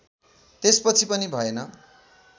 त्यसपछि पनि भएन